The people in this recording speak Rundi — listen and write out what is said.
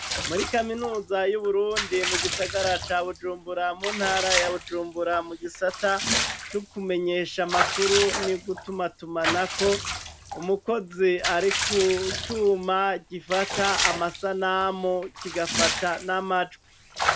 Muri kaminuza y'Uburundi mu gisagara ca Bujumbura, mu ntara ya Bujumbura, mu gisata co kumenyesha amakuru no gutumatumanako umukozi ari kucuma gifata amasanamu kigafata n'amajwi.